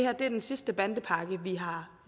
at det er den sidste bandepakke vi har